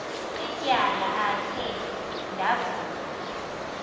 ityala akhe ndavuma